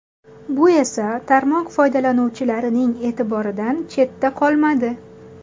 Bu esa tarmoq foydalanuvchilarining e’tiboridan chetda qolmadi.